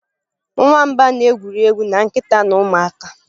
Nwamba na-egwuri egwu na nkịta na ụmụaka.